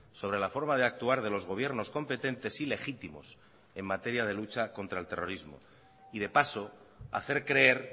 sobre la forma de actuar de los gobiernos competentes y legítimos en materia de lucha contra el terrorismo y de paso hacer creer